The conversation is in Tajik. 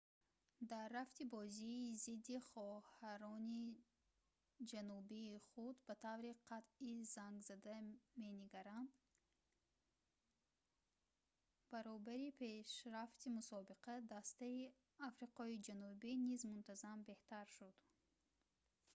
дар рафти бозии зидди хоҳарони ҷанубии худ ба таври қатъӣ зангзада менигаранд баробари пешрафти мусобиқа дастаи африқои ҷанубӣ низ мунтазам беҳтар шуд